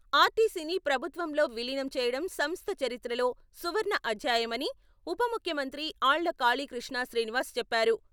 ఆర్టీసీని ప్రభుత్వంలో విలీనం చేయడం సంస్థ చరిత్రలో సువర్ణ అధ్యాయమని ఉప ముఖ్యమంత్రి ఆళ్ళ కాళీకృష్ణ శ్రీనివాస్ చెప్పారు.